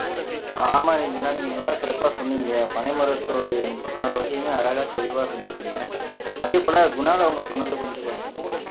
ஆமா ரஞ்சனா நீங்க நல்லா சிறப்பா சொன்னீங்க பனை மரத்துடைய முப்பத்து நாலு வகையுமே அழகா தெளிவா சொல்லிட்டீங்க அதே போல குணால் அவங்க சொன்னது வந்து பாத்தீங்கன்னா